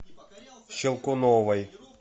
щелкуновой